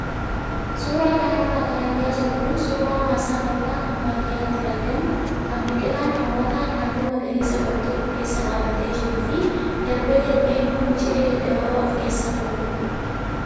Suuraa kanarra kan argaa jirru kun suuraa maasaa bal'aa kan baadiyyaatti argamu kan biqilaan hawwataan halluu magariisa qabu tokko keessa dhaabbatee jiruu fi darbee darbee immoo miciree gaggabaa of keessaa qabudha.